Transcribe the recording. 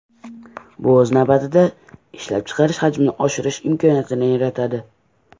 Bu, o‘z navbatida, ishlab chiqarish hajmini oshirish imkoniyatini yaratadi”.